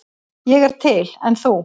Ég er til, en þú?